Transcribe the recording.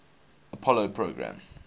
apollo program